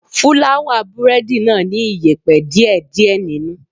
Fúláwà búrẹ́dì náà ní iyẹ̀pẹ̀ díè díè nínú.